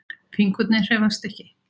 Fingurnir hreyfast ekki.